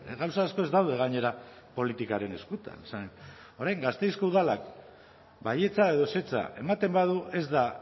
gauza asko ez daude gainera politikaren eskutan orain gasteizko udalak baietza edo ezetza ematen badu ez da